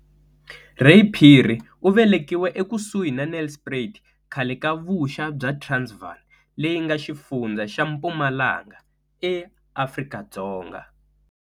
Ray Phiri u velekiwe ekusuhi na Nelspruit khale ka vuxa bya Transvaal, leyi nga xifundza xa Mpumalanga, eAfrika-Dzonga.